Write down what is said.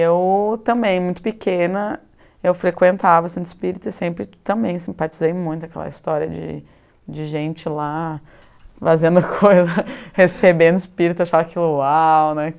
Eu também, muito pequena, eu frequentava o centro espírita e sempre também simpatizei muito aquela história de de gente lá fazendo coisa, recebendo espírito, achava aquilo uau, né?